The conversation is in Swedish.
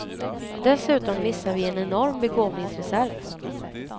Dessutom missar vi en enorm begåvningsreserv.